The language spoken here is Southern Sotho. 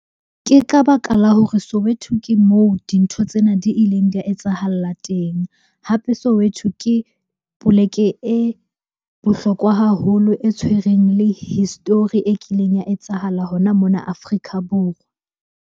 Ke ka baka la hore Soweto ke moo dintho tsena di ileng di a etsahala teng. Hape Soweto ke poleke e bohlokwa haholo, e tshwereng le history e kileng ya etsahala hona mona Afrika Borwa.